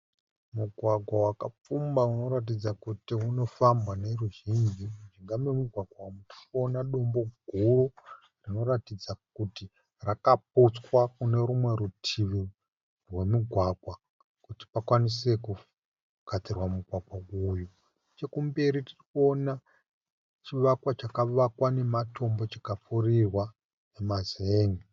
Mugwagwa wakapfumba unoratidza kuti unofambwa neruzhinji . Mujinga memugwagwa umu tirikuona dombo guru rinoratidza kuti rakaputswa kunerumwe rutivi rwemugwagwa kuti pakwanise kugadzirwa mugwagwa uyu. Nechekumberi tirikuona chivakwa chakavakwa nematombo chikapfurirwa nemazenge .